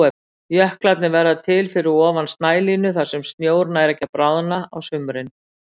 Jöklarnir verða til fyrir ofan snælínu þar sem snjór nær ekki að bráðna á sumrin.